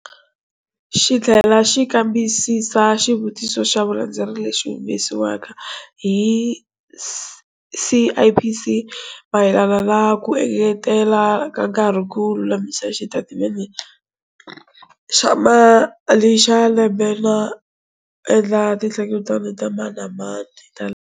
Xi tlhela xi kambisisa xitiviso xa vulandzeleri lexi humesiweke hi CIPC, mayelana na ku engetela ka nkarhi ku lulamisa xitatimende xa mali xa lembe no endla tihlengeletano ta mani na mani ta.